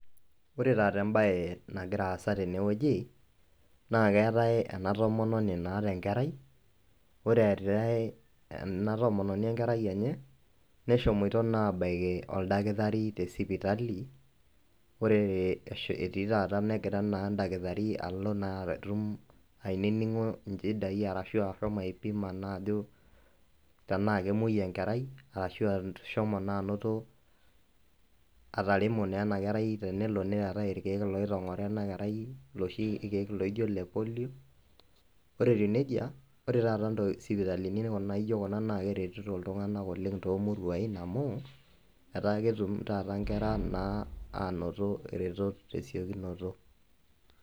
Ore tata embae nagira aasa tenewuji naa keetae ena tomononi naata enkerai, ore eeta ena tomononi enkerai enye, neshomoito naa abaiki oldakitari tesipitali. Ore etii taata negira endakitari allo naatum aininingo inchidai ashuu asho naa aipima ajo tenaa kemuoi enkerai ashua ashom naa anoto ataremo naa enakerai tenelo neetae ilkeek oitongoro ena kerai iloshi keek loijio ile polio. Ore etiu nejia ore taata isipitalini naijio kuna naa keretito iltunganak oleng toomuruai pooki amuu etaa ketumoto taata inkera ang naa anoto iretot tesiokinoto.